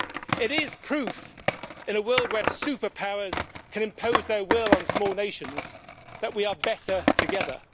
It is proof, in a world where superpowers can impose their will on small nations, that we are better together.